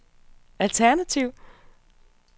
alternativ